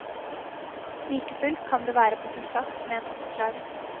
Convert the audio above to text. Like fullt kan det være på sin plass med en oppklaring.